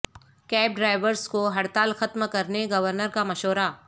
cab drivers کو ہڑتال ختم کرنے گورنر کا مشورہ